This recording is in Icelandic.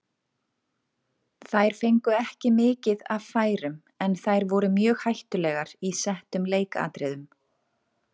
Þær fengu ekki mikið af færum en þær voru mjög hættulegar í settum leikatriðum.